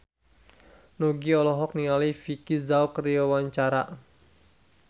Nugie olohok ningali Vicki Zao keur diwawancara